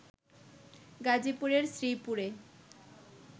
গাজীপুরের শ্রীপুরে